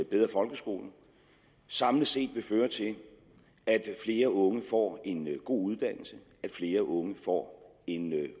bedre folkeskole samlet set vil føre til at flere unge får en god uddannelse at flere unge får en